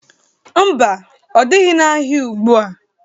Ḿbà, ọ dịrị n'ahịa ugbua.